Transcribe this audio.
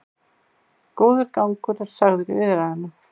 Góður gangur er sagður í viðræðunum